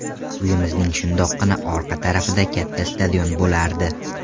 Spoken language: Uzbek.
Uyimizning shundoqqina orqa tarafida katta stadion bo‘lardi.